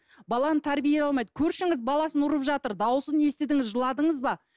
баланы тәрбие алмайды көршіңіз баласын ұрып жатыр дауысын естідіңіз жыладыңыз ба